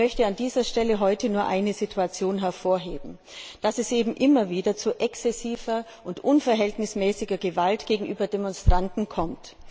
Ich möchte an dieser Stelle heute nur eine Situation hervorheben dass es eben immer wieder zu exzessiver und unverhältnismäßiger Gewalt gegenüber Demonstranten kommt.